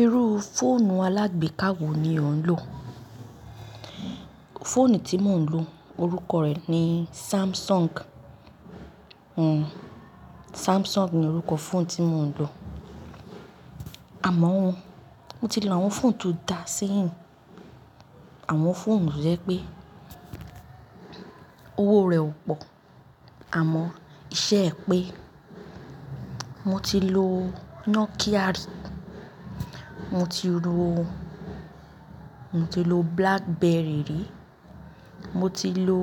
Irú fóònù alágbe káwò ni ò ń lò? Fóònù tí mò ń lò orúkọ rẹ ní Samsung. Hmm. Samsung ni orúkọ fóònù tí mò ń lò. Àmọ́ o mo ti lo àwọn fóònù tó dá sí ì. Àwọn fóònù to jẹ́ pé owó rẹ ò pò, àmọ́ iṣẹ́ ẹ pé. Mo ti lo Nokia rí, mo ti lo, mo ti lo Blackberry rí, mo ti lo,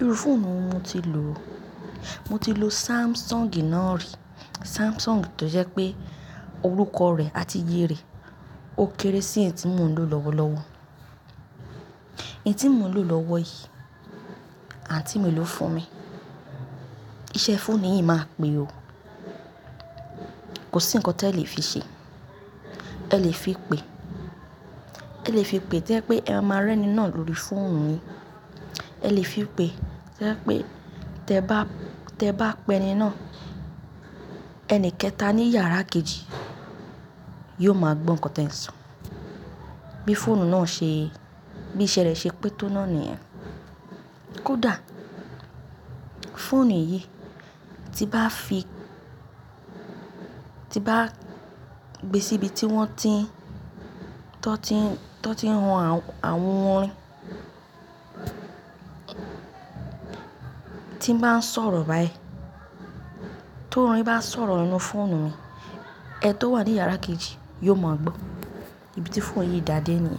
irú fóònù mo ti lò, mo ti lo Samsung náà rí. Samsung tó jẹ́ pé orúkọ rẹ a ti yẹ rẹ, ó kéré sí èyí tí mò ń lò lọ́wọ́lọ́wọ́. Èyí tí mò ń lò lọ́wọ́ yìí, àǹtí mi ló fún mi. Iṣẹ́ fóònù yìí máa pe o. Kò sí nǹkan tí ẹ lè fi ṣe. Ẹ lè fi pe, ẹ lè fi pe tí ẹ bá pé ẹ máa rẹ́ni náà lórí fóònù yìí, ẹ lè fi pe tí ẹ bá, tí ẹ bá pè ni náà, ẹni kẹta ní yàrá kejì yóò mọ gbọ́ nǹkan tí ẹ ń sọ. Bí fóònù náà ṣe, bí iṣẹ́ rẹ ṣe pé tó náà ní ẹ́. Kódà fóònù yìí tí bá fi, tí bá gbé síbi tí wọ́n ti ń, tí wọ́n ti ń ran àwọn orin, tí ń bá sọ̀rọ̀ báyìí, tó orin bá sọ̀rọ̀ nínú fóònù mi, ẹni tó wà ní yàrá kejì yóò mọ̀ gbó. Ibi tí fóònù yìí dá dé ní.